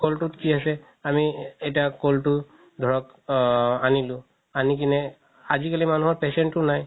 ক'লতোত কি আছে আমি এতিয়া ক'ল তো ধৰক আ আনিলো আনি কিনে আজি কালি মানুহৰ patience ও নাই